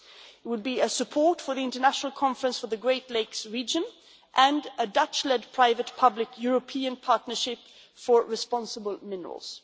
it will be a support for the International Conference for the great lakes region and a Dutch led private public European partnership for responsible minerals.